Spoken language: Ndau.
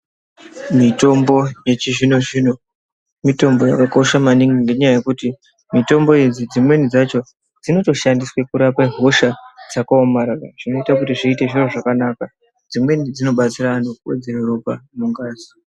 Mitombo yechizvino-zvino, mitombo yakakosha maningi ngenyaya yekuti mitombo idzi dzimweni dzacho dzinotoshandiswe kurapa hosha dzakaomarara, zvinotakuti zviite zviro zvakanaka. Dzemweni dzinobetsira antu kuvedzere ropa mungazi.